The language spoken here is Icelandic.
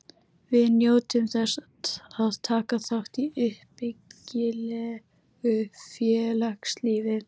Við njótum þess að taka þátt í uppbyggilegu félagslífi.